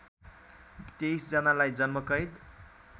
२३ जनालाई जन्मकैद